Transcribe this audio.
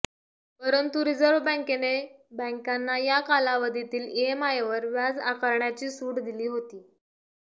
परंतु रिझर्व्ह बँकेने बँकांना या कालावधीतील ईएमआयवर व्याज आकारण्याची सूट दिली होती